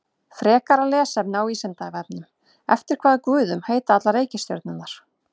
Frekara lesefni á Vísindavefnum: Eftir hvaða guðum heita allar reikistjörnurnar?